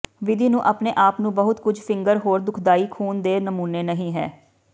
ਵਿਧੀ ਨੂੰ ਆਪਣੇ ਆਪ ਨੂੰ ਬਹੁਤ ਕੁਝ ਫਿੰਗਰ ਹੋਰ ਦੁਖਦਾਈ ਖੂਨ ਦੇ ਨਮੂਨੇ ਨਹੀ ਹੈ